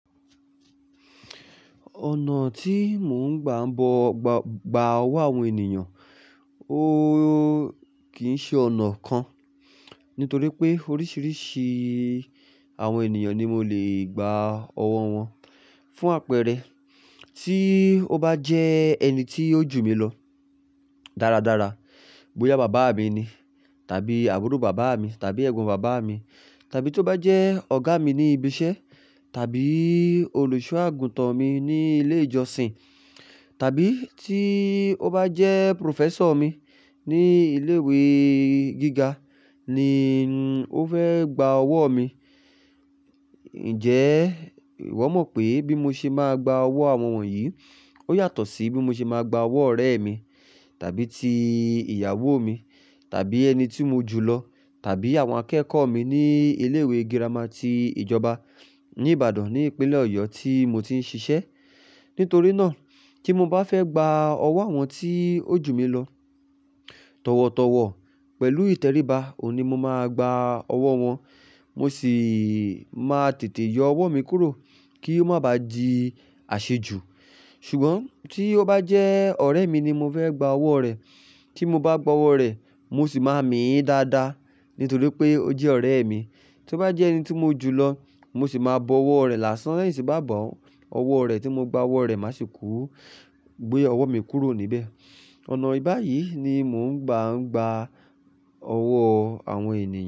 Ọ̀nà tí mò ń gbà ń bọ gbọ–gba ọwọ́ àwọn ènìyàn, ó kì í ṣe ọ̀nà kan. Nítorí pé oríṣiríṣi àwọn ènìyàn ni mo lè gba ọwọ́ wọn. Fún àpẹẹrẹ, tí ó bá jẹ́ ẹni tí ó jù mí lọ dáradára, bóyá bàbá mi ni, tàbí àbúrò bàbá mi, tàbí ẹ̀gbọ́n bàbá mi, tàbí tó bá jẹ́ ọ̀gá mi ní ibi iṣẹ́, tàbí olùṣọ́-àgùntàn mi ní ilé ìjọsìn, tàbí tí ó bá jẹ́ professor mi ní ilé ìwé gíga ni ó fẹ́ gba ọwọ́ mi, ǹjẹ́ ìwọ mọ̀ pé bí mo ṣe máa gba ọwọ́ àwọn wọ̀nyí ó yàtọ̀ sí bí mo ṣe máa gba ọwọ́ ọ̀rẹ́ mi tàbí ti ìyàwó mi tàbí ẹni tí mo jùlọ, tàbí àwọn akẹ́kọ̀ọ́ mi ní ilé ìwé girama ti ìjọba ní Ìbàdàn ní ìpínlẹ̀ Ọ̀yọ́ tí mo ti ń ṣiṣẹ́. Nítorí náà tí mo bá fẹ́ gba ọwọ́ àwọn tí ó jù mí lọ, tọ̀wọ̀tọ̀wọ̀ pẹ̀lú ìtẹríba, ò n ni mo máa gba ọwọ́ wọn. Mo sì máa tètè yọ ọwọ́ mi kúrò kí ó má ba à di àṣejù. Ṣùgbọ́n tí ó bá jẹ́ ọ̀rẹ́ mi ni mo fẹ́ gba ọwọ́ rẹ, tí mo bá gba ọwọ́ rẹ̀, mo sì máa mìí dáadáa. Nítorí pé ó jẹ́ ọ̀rẹ́ mi. Tó bá jẹ́ ẹni tí mo jùlọ, mo sì máa bọ ọwọ́ rẹ̀ lásán lẹ́yìn tí bá bọ ọwọ́ rẹ̀ tí mo gba ọwọ́ rẹ̀, mà sì kú gbé ọwọ́ mi kúrò níbẹ̀. Ọ̀nà báyìí ni mò ń gbà ń gba ọwọ́ àwọn ènìyàn.